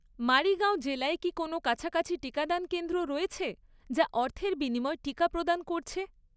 মারিগাঁও জেলায় কি কোনও কাছাকাছি টিকাদান কেন্দ্র রয়েছে, যা অর্থের বিনিময়ে টিকা প্রদান করছে?